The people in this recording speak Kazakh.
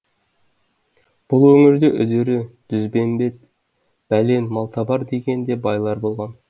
бұл өңірде үдері дүзбембет бәлен малтабар деген де байлар болған